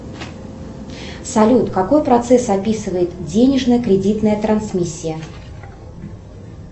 салют какой процесс описывает денежная кредитная трансмиссия